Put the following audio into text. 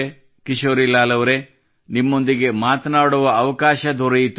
ಕಿಶೋರಿಲಾಲ್ ಅವರೇ ನಿಮ್ಮೊಂದಿಗೆ ಮಾತನಾಡುವ ಅವಕಾಶ ದೊರೆಯಿತು